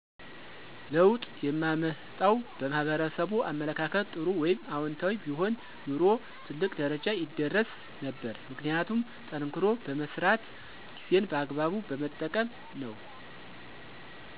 ለውጥ የማመጣው በማህበረሰቡ አመለካከት ጥሩ ወይም አወንታዊ ቢሆን ኑሮ ትልቅ ደረጃ ይደረስ ነበር። ምክንያቱም ጠንክሮ በመስራት ጊዜን በአግባቡ በመጠቀም ነው።